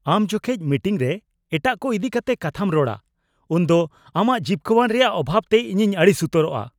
ᱟᱢ ᱡᱚᱠᱷᱮᱡ ᱢᱤᱴᱤᱝᱨᱮ ᱮᱴᱟᱜ ᱠᱚ ᱤᱫᱤ ᱠᱟᱛᱮ ᱠᱟᱛᱷᱟᱢ ᱨᱚᱲᱟ ᱩᱱᱫᱚ ᱟᱢᱟᱜ ᱡᱤᱯᱠᱟᱹᱣᱟᱱ ᱨᱮᱭᱟᱜ ᱚᱵᱷᱟᱵ ᱛᱮ ᱤᱧᱤᱧ ᱟᱹᱲᱤᱥ ᱩᱛᱟᱹᱨᱚᱜᱼᱟ ᱾